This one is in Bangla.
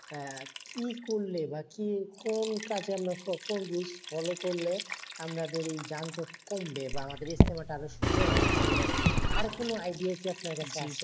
হ্যাঁ। কি করলে বা কি কোন কাজে আমরা follow করলে আমাদের এই যানজট কমবে বা আমাদেরই এই ইজতেমাটা আরো সুন্দর হবে ভালো হবে। তার কোন idea আপনার কাছে আছে?